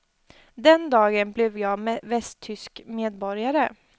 Den dagen blev jag västtysk medborgare.